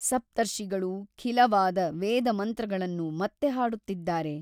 ಸಪ್ತರ್ಷಿಗಳೂ ಖಿಲವಾದ ವೇದಮಂತ್ರಗಳನ್ನು ಮತ್ತೆ ಹಾಡುತ್ತಿದ್ದಾರೆ.